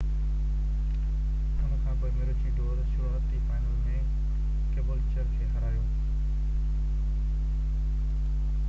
ان کانپوءِ مروچي ڊور شروعاتي فائنل ۾ ڪيبولچر کي هارايو